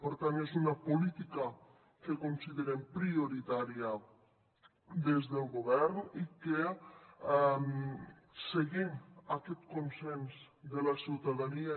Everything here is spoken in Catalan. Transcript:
per tant és una política que considerem prioritària des del govern i que seguint aquest consens de la ciutadania